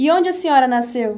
E onde a senhora nasceu?